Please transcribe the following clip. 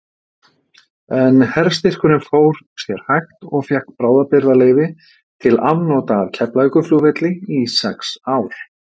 En herstyrkurinn fór sér hægt og fékk bráðabirgðaleyfi til afnota af Keflavíkurflugvelli í sex ár.